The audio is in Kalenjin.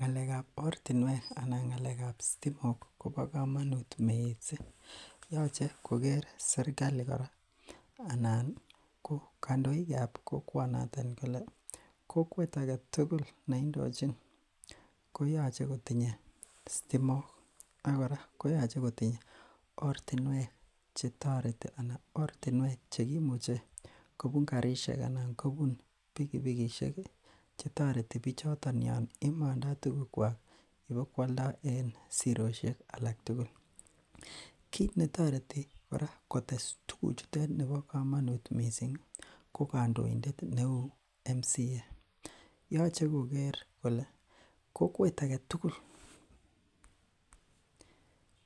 Ngalekab ortinwek alaan ngalekab sitimok kobo komonut mising, yoche koker serikali kora anan ko kondoikab kokwonoton kolee kokwet aketukul neindochiny koyoche kotinye sitimok ak kora koyoche kotinye ortinwek chetoreti anan ortinwek chekimuche kobun karishek anan kobun pikipikishek chetoreti bichoton yoon imondo tukukwak ibokwoldo en siroshek alak tukul, kiit netoreti kora kotes tukuchutet nebo komonut mising ko kondoindet neuu MCA yoche koker kolee kokwet aketukul